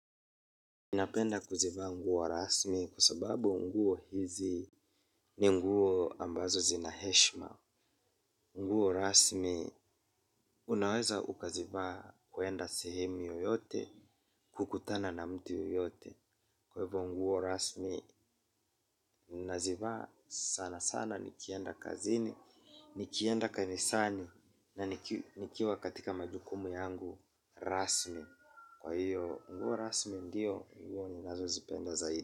Ninapenda kuzivaa nguo wa rasmi kwa sababu nguo hizi ni nguo ambazo zinaheshima. Nguo rasmi unaweza ukazivaa kwenda sehemu yoyote kukutana na mtu yoyote. Kwa hivyo nguo rasmi ninazivaa sana sana nikienda kazini, nikienda kanisani na nikiwa katika majukumu yangu rasmi. Kwa hivyo nguo rasmi ndiyo nguo ninazozipenda zaidi.